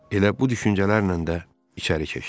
Elə bu düşüncələrlə də içəri keçdi.